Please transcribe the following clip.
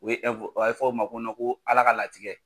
U ye fɔ a bɛ fɔ o ma ko Ala ka latigɛ.